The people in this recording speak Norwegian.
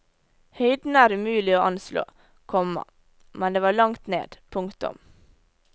Høyden er umulig å anslå, komma men det var langt ned. punktum